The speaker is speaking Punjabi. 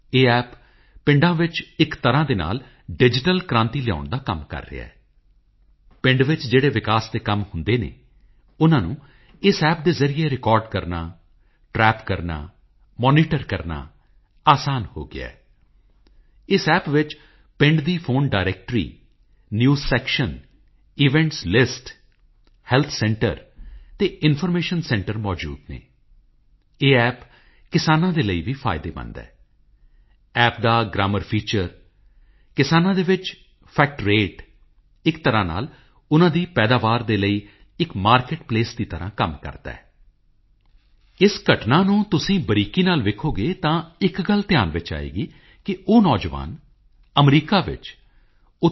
ਇਸੇ ਕ੍ਰਾਂਤੀ ਮੰਦਿਰ ਵਿੱਚ ਇੱਕ ਦ੍ਰਿਸ਼ ਕਲਾ ਸੰਗ੍ਰਹਿਆਲਾ ਵੀ ਬਣਾਇਆ ਗਿਆ ਹੈ ਭਾਰਤੀ ਕਲਾ ਅਤੇ ਸੱਭਿਆਚਾਰ ਬਾਰੇ ਬਹੁਤ ਹੀ ਲੁਭਾਵਣੇ ਤਰੀਕੇ ਨਾਲ ਦੱਸਣ ਦੀ ਇਹ ਕੋਸ਼ਿਸ਼ ਹੈ ਸੰਗ੍ਰਹਿਆਲਾ ਵਿੱਚ ਚਾਰ ਇਤਿਹਾਸਕ ਐਕਸ਼ੀਬਿਸ਼ਨਜ਼ ਹਨ ਅਤੇ ਉੱਥੇ ਤਿੰਨ ਸਦੀਆਂ ਪੁਰਾਣੀਆਂ 450 ਤੋਂ ਜ਼ਿਆਦਾ ਪੇਂਟਿੰਗਜ਼ ਅਤੇ ਆਰਟ ਵਰਕ ਮੌਜੂਦ ਹੈ ਸੰਗ੍ਰਹਿਆਲਾ ਵਿੱਚ Amrita Shergil Raja Ravi Varma Abanindranath Tagore Gaganendranath Tagore Nandalal Bose Jamini Roy Sailoz Mukherjee ਵਰਗੇ ਮਹਾਨ ਕਲਾਕਾਰਾਂ ਦੇ ਉੱਤਮ ਕਾਰਜਾਂ ਦਾ ਬਾਖੂਬੀ ਪ੍ਰਦਰਸ਼ਨ ਕੀਤਾ ਗਿਆ ਹੈ ਅਤੇ ਮੈਂ ਤੁਹਾਨੂੰ ਸਭ ਨੂੰ ਵਿਸ਼ੇਸ਼ ਰੂਪ ਵਿੱਚ ਬੇਨਤੀ ਕਰਾਂਗਾ ਕਿ ਤੁਸੀਂ ਉੱਥੇ ਜਾਓ ਅਤੇ ਗੁਰੂ ਦੇਵ ਰਾਬਿੰਦਰ ਨਾਥ ਟੈਗੋਰ ਜੀ ਦੇ ਕੰਮਾਂ ਨੂੰ ਜ਼ਰੂਰ ਵੇਖੋ